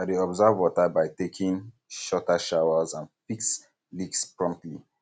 i dey conserve water by taking um shorter showers and fix leaks promptly